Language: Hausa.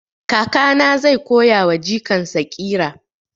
Kakana zai koya wa jikan sa ƙira